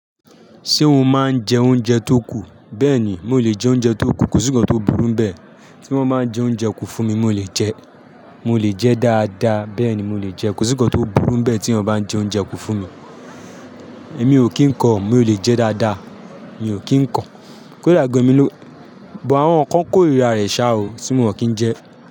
Ṣé o máa ń jẹ oúnjẹ tó kù? Bẹ́ẹ̀ni, mo lè jẹ oúnjẹ tó kù, kò sí ǹkan tó burú bẹ́ẹ̀ tí wọ́n bá ń jẹ oúnjẹ kù fún mi, mo lè jẹ, mo lè jẹ dáadáa, bẹ́ẹ̀ni mo lè jẹ, kò sí ǹkan tó burú bẹ́ẹ̀ tí wọ́n bá ń jẹ oúnjẹ kù fún mi. Èmi ò kí ń kọ, mo lè jẹ dáadáa, mi ò kí ń kọ. Kó dá gan emi lo, buh àwọn kan kórìíra rẹ̀ ṣa o tí wọ́n ò kí ń jẹ?